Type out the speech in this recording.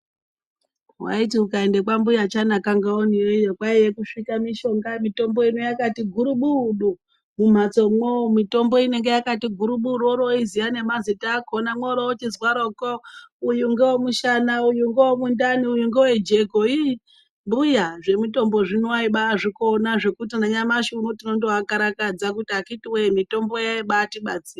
Waiti ungaende kwambuya Chanaka Ngaone iyoyo kwaiye kusvika mishonga, mitombo ino yakati gurubudu mumhatsomwo. Mitombo inonga yakati gurubuda yorooziya nemazita akhona mworoochizwaroko uyu ngowomushana, uyu ngowomundani uyu ngowojeko. Iii mbuya zvemutombo zvino aibazvikona zvokuti nanyamashi uno tinotoakarakadza kuti akhiti woye mitombo yaibaatibatsira.